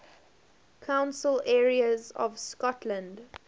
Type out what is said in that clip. council areas of scotland